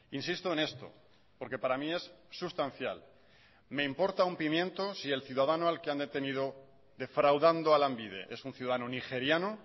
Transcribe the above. insisto en esto porque para mí es sustancial me importa un pimiento si el ciudadano al que han detenido defraudando a lanbide es un ciudadano nigeriano